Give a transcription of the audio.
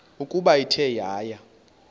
ukuba ithe yaya